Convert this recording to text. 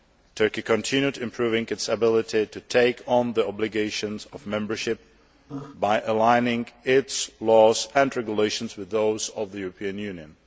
Turkey continued improving its ability to take on the obligations of membership by aligning its laws and regulations with those of the European Union.